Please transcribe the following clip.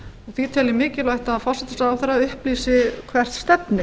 því tel ég mikilvægt að forsætisráðherra upplýsi hvert stefnir